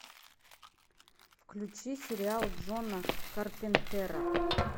включи сериал джона карпентера